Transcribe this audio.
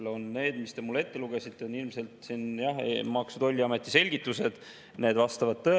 Täna on see, et kui sa seal 1200–2100 vahemikus tõstad, siis sa tõstad palka, aga nagu ma enne siin kolleegile ette lugesin, siis tulumaks on selles vahemikus kõrgem.